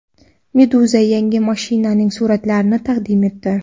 Meduza yangi mashinaning suratlarini taqdim etdi .